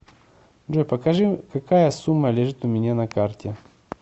джой покажи какая сумма лежит у меня на карте